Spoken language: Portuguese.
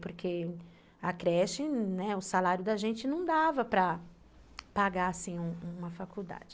Porque a creche, o salário da gente não dava para pagar assim, uma faculdade.